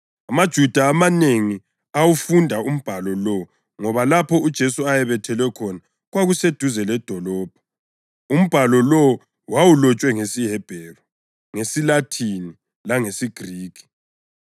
AmaJuda amanengi awufunda umbhalo lowo ngoba lapho uJesu ayebethelwe khona kwakuseduze ledolobho, umbhalo lowo wawulotshwe ngesiHebheru, ngesiLathini langesiGrikhi.